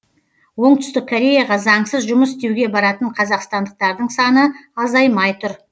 оңтүстік кореяға заңсыз жұмыс істеуге баратын қазақстандықтардың саны азаймай тұр